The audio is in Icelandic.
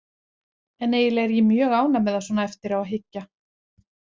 En eiginlega er ég mjög ánægð með það svona eftir á að hyggja.